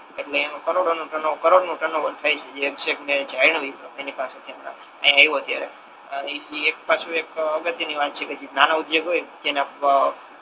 એટલે એમ કરોડો નુ ટર્ન ઓવર કરોડો નુ ટર્ન ઓવર થાય છે જે છેક મે જાણ્યુ એની પાસે થી અત્યારે અહી આવિયો ત્યારે ઇ એક પછી એક અગત્ય ની વાત છે જે નાનો ઉધ્યોગ હોય